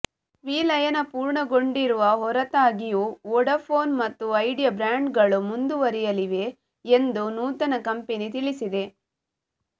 ವಿಲಯನ ಪೂರ್ಣಗೊಂಡಿರುವ ಹೊರತಾಗಿಯೂ ವೋಡಾಫೋನ್ ಮತ್ತು ಐಡಿಯಾ ಬ್ರಾಂಡ್ಗಳು ಮುಂದುವರಿಯಲಿವೆ ಎಂದು ನೂತನ ಕಂಪೆನಿ ತಿಳಿಸಿದೆ